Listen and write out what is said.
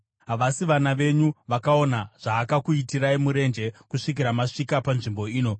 Havasi vana venyu vakaona zvaakakuitirai murenje kusvikira masvika panzvimbo ino,